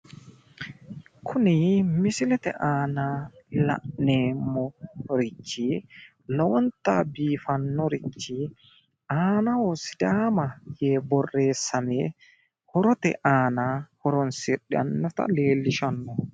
Kuni misilete aana la'neemmorichi lowontanni biifannorichi aanaho sidaama yee borreessame horote aana horoonsidhannota leellishshanno